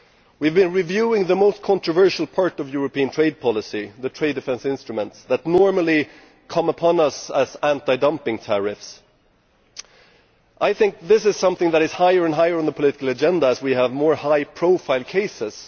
We have been reviewing the most controversial part of European trade policy the trade defence instruments, which normally come upon us as anti dumping tariffs. This is something that is moving higher and higher up the political agenda as we have more high profile cases.